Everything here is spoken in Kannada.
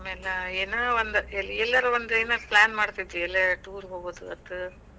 ಆಮ್ಯಾಲ ಎನ ಒಂದ್ ಎಲ್ಲಾರ ಒಂದ್ ಏನಾರ plan ಮಾಡತಿದ್ವಿ. ಎಲ್ಲಾರ tour ಹೋಗೋದಾತು.